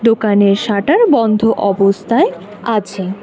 দোকানে শাটার বন্ধ অবস্থায় আছে।